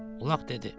Ulaq dedi.